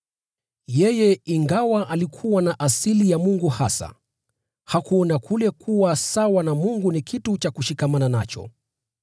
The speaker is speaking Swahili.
Yeye, ingawa alikuwa na asili ya Mungu hasa, hakuona kule kuwa sawa na Mungu kuwa kitu cha kushikilia,